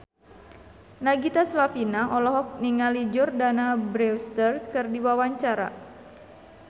Nagita Slavina olohok ningali Jordana Brewster keur diwawancara